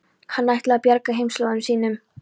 Hann ætlaði að bjarga heimaslóðum sínum.